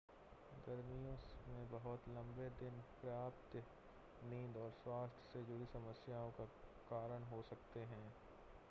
गर्मियों में बहुत लंबे दिन पर्याप्त नींद और स्वास्थ्य से जुड़ी समस्याओं का कारण हो सकते हैं